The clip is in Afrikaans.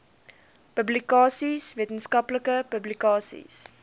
publikasies wetenskaplike publikasies